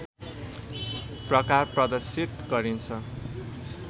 प्रकार प्रदर्शित गरिन्छ